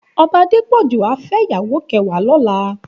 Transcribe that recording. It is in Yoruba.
Òbá Adepoju á fè iyàwó kèwàá lòlá